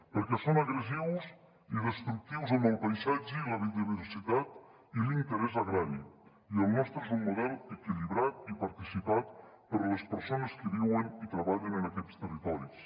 perquè són agressius i destructius amb el paisatge i la biodiversitat i l’interès agrari i el nostre és un model equilibrat i participat per les persones que viuen i treballen en aquests territoris